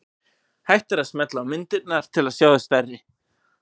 Hægt er að smella á myndirnar til að sjá þær stærri.